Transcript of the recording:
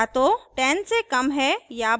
n या तो 10 से कम है या बराबर है